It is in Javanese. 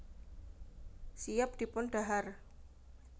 Siap dipun dhahar